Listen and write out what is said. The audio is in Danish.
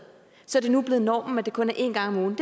så det nu er blevet normen at det kun er én gang om ugen